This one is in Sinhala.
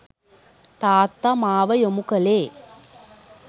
තාත්තා මාව යොමු කළේ